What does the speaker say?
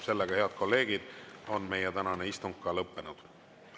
Sellega, head kolleegid, on meie tänane istung lõppenud.